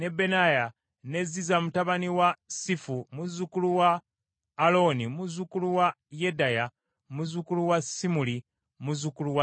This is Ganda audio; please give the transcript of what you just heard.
ne Ziza mutabani wa Sifi muzzukulu wa Alooni, muzzukulu wa Yedaya, muzzukulu wa Simuli, muzzukulu wa Semaaya.